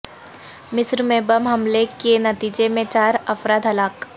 مصر میں بم حملے کےنتیجے میں چار افراد ہلاک